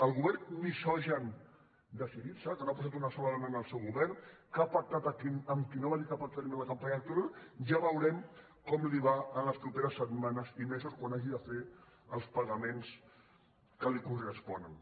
al govern misogin de syriza que no ha posat una sola dona en el seu govern que ha pactat amb qui va dir que no pactaria en la campanya electoral ja veurem com li va les properes setmanes i mesos quan hagi de fer els pagaments que li corresponen